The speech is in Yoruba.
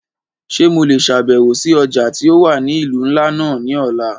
Ṣe Mo le ṣabẹwo si ọja ti o wa ni ilu nla náa ni ọla?